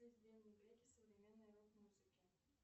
современной рок музыки